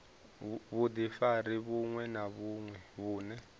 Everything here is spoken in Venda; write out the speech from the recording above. vhudifari vhuṅwe na vhuṅwe vhune